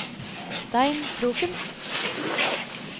Stein Kroken